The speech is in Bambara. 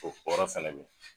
O kɔrɔ fɛnɛ bɛ ye.